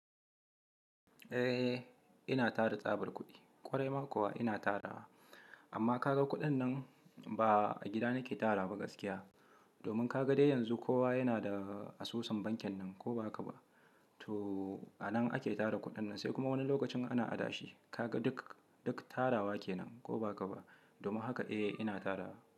Eh, ina tara tsabar kuɗi. Kwarai ma kuwa ina tarawa. Amma ka ga kuɗin nan, ba a gida nake tarawa ba gaskiya. Domin ka ga dai yanzu kowa yana da asusun bankin nan, ko ba haka ba. To anan ake tara kuɗin nan, se kuma wani lokacin ana adashi. Kaga duk, duk tarawa kenan, ko ba haka ba. Domin haka eh ina tarawa.